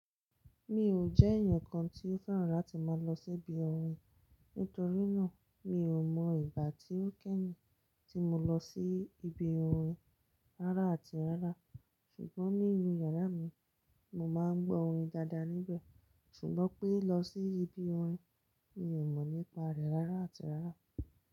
Mi ò jẹ́ èèyàn kan tí ó fẹ́ràn láti máa lọ sí ibi orin. Nítorínà, mi ò mọ ìgbà tí ó kẹ́yin tí mo lọ sí ibi orin rárá àti rárá ṣùgbọ́n nínú yàrá mi, mo máa ń gbọ́ orin daadaa níbẹ̀ ṣùgbọ́n pé lọ sí ibi orin, mi ò mọ nípa rẹ̀ rárá àti rárá.